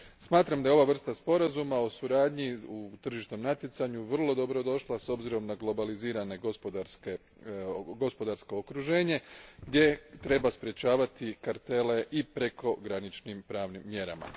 Smatram da je ova vrsta sporazuma o suradnji u tržišnom natjecanju vrlo dobrodošla s obzirom na globalizirano gospodarsko okruženje gdje treba sprečavati kartele i prekograničnim pravnim mjerama.